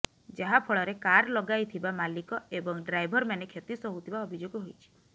ଯାହା ଫଳରେ କାର ଲଗାଇଥିବା ମାଲିକ ଏବଂ ଡ୍ରାଇଭରମାନେ କ୍ଷତି ସହୁଥିବା ଅଭିଯୋଗ ହୋଇଛି